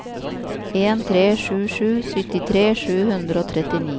en tre sju sju syttitre sju hundre og trettini